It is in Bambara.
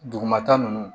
Dugumata nunnu